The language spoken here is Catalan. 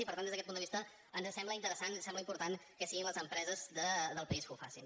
i per tant des d’aquest punt de vista ens sembla interessant ens sembla important que siguin les empreses del país que ho facin